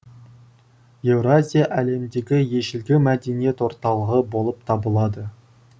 еуразия әлемдегі ежелгі мәдениет орталығы болып табылады